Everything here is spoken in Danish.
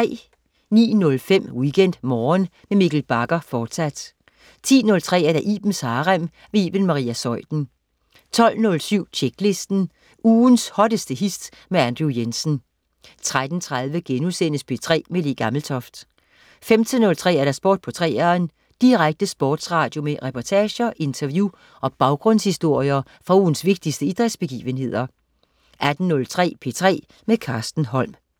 09.05 WeekendMorgen med Mikkel Bagger, fortsat 10.03 Ibens Harem. Iben Maria Zeuthen 12.07 Tjeklisten. Ugens hotteste hits med Andrew Jensen 13.30 P3 med Le Gammeltoft* 15.03 Sport på 3'eren. Direkte sportsradio med reportager, interview og baggrundshistorier fra ugens vigtigste idrætsbegivenheder 18.03 P3 med Carsten Holm